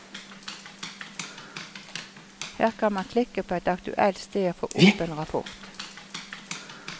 Her kan man klikke på et aktuelt sted og få opp en rapport.